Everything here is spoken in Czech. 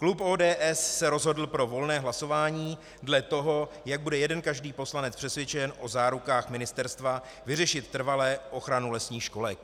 Klub ODS se rozhodl pro volné hlasování dle toho, jak bude jeden každý poslanec přesvědčen o zárukách ministerstva vyřešit trvale ochranu lesních školek.